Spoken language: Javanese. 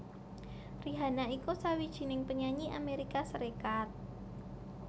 Rihanna iku sawijining penyanyi Amérika Sarékat